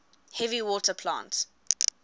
heavy water plant